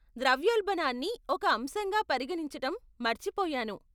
ద్రవ్యోల్బణాన్ని ఒక అంశంగా పరిగణించటం మర్చిపోయాను.